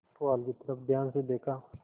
पुआल की तरफ ध्यान से देखा